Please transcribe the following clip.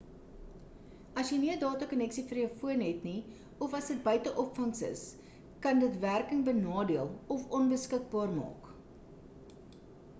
as jy nie 'n data konneksie vir jou foon het nie of as dit buite opvangs is kan dit werking benadeel of onbeskikbaar maak